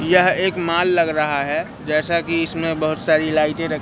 यह एक मॉल लग रहा है जैसा कि इसमें बहोत सारी लाइटें --